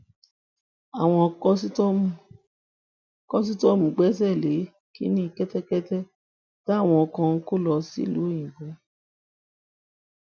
àwọn kòsítọọmù gbéṣẹlè kínní kẹtẹkẹtẹ táwọn kan ń kó lọ sílùú òyìnbó